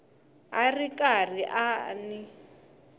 a ri karhi a n